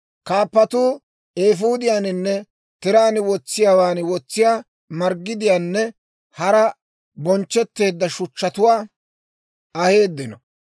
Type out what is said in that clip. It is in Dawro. Kaappatuu eefuudiyaaninne tiraan wotsiyaawaan wotsiyaa marggidiyaanne hara bonchchetteedda shuchchatuwaa aheeddino.